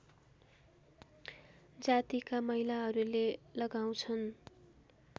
जातिका महिलाहरूले लगाउँछन्